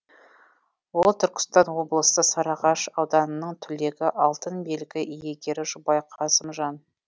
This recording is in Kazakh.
ол түркістан облысы сарыағаш ауданының түлегі алтын белгі иегері жұбай қасымжан